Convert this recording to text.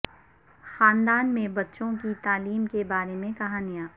خاندان میں بچوں کی تعلیم کے بارے میں کہانیاں